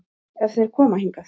Ef þeir koma hingað.